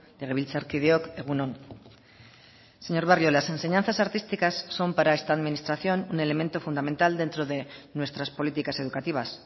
legebiltzarkideok egun on señor barrio las enseñanzas artísticas son para esta administración un elemento fundamental dentro de nuestras políticas educativas